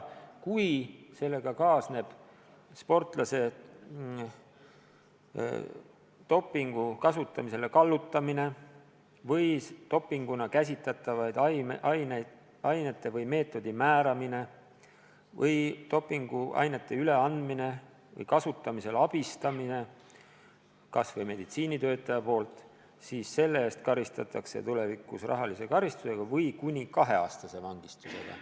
Kui sellega kaasneb sportlase kallutamine dopingut kasutama või dopinguna käsitatavate ainete või meetodi määramine või dopinguainete üleandmine või nende kasutamisel abistamine kas või meditsiinitöötaja poolt, siis selle eest karistatakse tulevikus rahalise karistusega või kuni kaheaastase vangistusega.